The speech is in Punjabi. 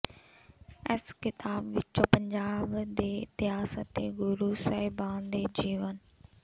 ਇਸ ਕਿਤਾਬ ਵਿਚੋਂ ਪੰਜਾਬ ਦੇ ਇਤਿਹਾਸ ਅਤੇ ਗੁਰੂ ਸਾਹਿਬਾਨ ਦੇ ਜੀਵਨ